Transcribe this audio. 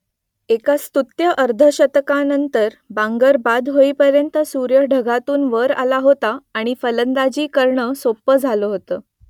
एका स्तुत्य अर्धशतकानंतर बांगर बाद होईपर्यंत सूर्य ढगातून वर आला होता आणि फलंदाजी करणं सोपं झालं होतं